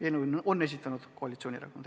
Eelnõu on esitanud koalitsioonierakonnad.